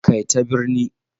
Kai ta birni